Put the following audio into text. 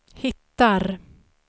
hittar